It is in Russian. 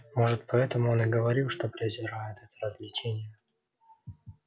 может поэтому он и говорил что презирает это развлечение